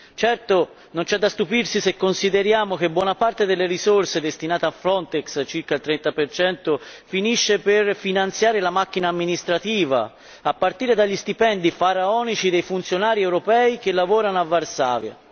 Certo, non c'è da stupirsi se consideriamo che buona parte delle risorse destinate a Frontex circa il 30 finisce per finanziare la macchina amministrativa, a partire dagli stipendi faraonici dei funzionari europei che lavorano a Varsavia.